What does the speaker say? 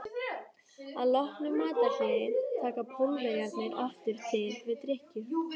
Að loknu matarhléi taka Pólverjarnir aftur til við drykkju.